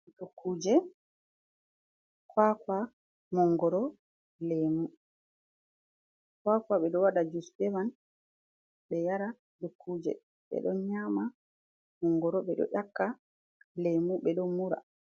Dukuuje, kuwakuwa, manngoro, leemu, kuwakuwa ɓe ɗo waɗa jus be man be yara, dukuuje ɓe ɗo nyaama, monngoro ɓe ɗo ƴakka, lemu ɓe ɗo mura.